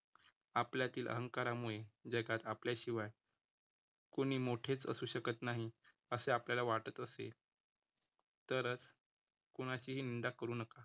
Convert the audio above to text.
आपल्यातील अहंकारामुळे जगात आपल्या शिवाय कोणी मोठेच असू शकत नाही, असे आपल्याला वाटत असेल, तरच कुणाशीही निंदा करू नका